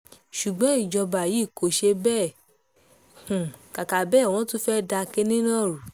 ṣùgbọ́n ìjọba yìí kò ṣe bẹ́ẹ̀ kàkà bẹ́ẹ̀ wọ́n tún fẹ́ẹ́ da kinní náà rú ni